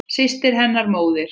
Systir hennar, móðir